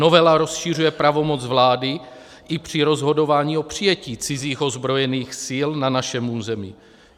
Novela rozšiřuje pravomoc vlády i při rozhodování o přijetí cizích ozbrojených sil na našem území.